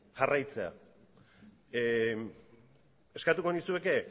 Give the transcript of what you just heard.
jarraitzea eskatuko nizueke